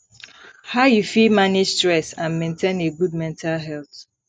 how you fit manage stress and maintain a good mental health